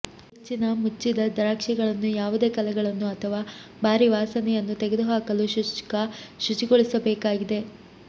ಹೆಚ್ಚಿನ ಮುಚ್ಚಿದ ದ್ರಾಕ್ಷಿಗಳನ್ನು ಯಾವುದೇ ಕಲೆಗಳನ್ನು ಅಥವಾ ಭಾರಿ ವಾಸನೆಯನ್ನು ತೆಗೆದುಹಾಕಲು ಶುಷ್ಕ ಶುಚಿಗೊಳಿಸಬೇಕಾಗಿದೆ